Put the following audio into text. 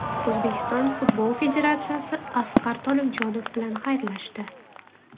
O‘zbekiston Futbol Federatsiyasi Asqar Tolibjonov bilan xayrlashdi.